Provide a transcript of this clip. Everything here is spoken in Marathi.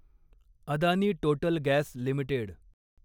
Adani total gas limited